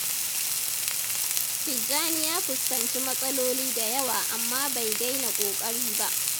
Tijjani ya fuskanci matsaloli da yawa amma bai daina ƙoƙari ba.